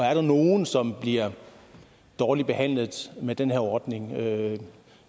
er nogle som bliver dårligt behandlet med den her ordning jeg